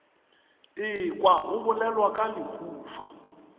ekwa go bolelwa ka lehufa